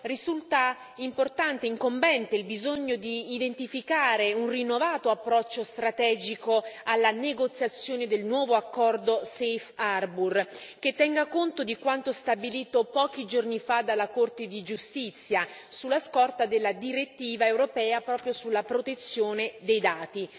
Risulta importante e incombente il bisogno di identificare un rinnovato approccio strategico alla negoziazione del nuovo accordo Safe Harbour, che tenga conto di quanto stabilito pochi giorni fa dalla Corte di giustizia, sulla scorta della direttiva europea proprio sulla protezione dei dati.